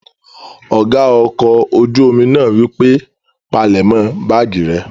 Ọ̀gá ọkọ̀ ojú-omi náà wípé, "palẹ̀mọ́ báàgì rẹ!"